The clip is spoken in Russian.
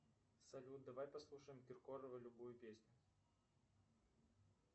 салют давай послушаем киркорова любую песню